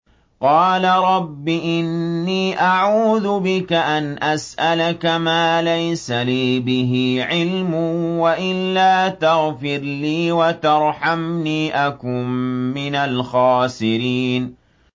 قَالَ رَبِّ إِنِّي أَعُوذُ بِكَ أَنْ أَسْأَلَكَ مَا لَيْسَ لِي بِهِ عِلْمٌ ۖ وَإِلَّا تَغْفِرْ لِي وَتَرْحَمْنِي أَكُن مِّنَ الْخَاسِرِينَ